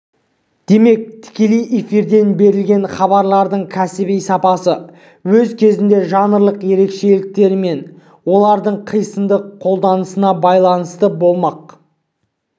демек тікелей эфирден берілген хабарлардың кәсіби сапасы өз кезегінде жанрлық ерекшеліктері мен олардың қисынды қолданысына байланысты болмақ